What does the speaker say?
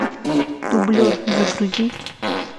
дублер загрузи